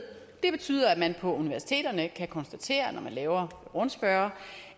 det betyder at man på universiteterne kan konstatere når man laver en rundspørge